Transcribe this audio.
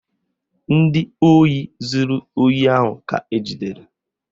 Ndị ohi zuru ohi ahụ ka ejidere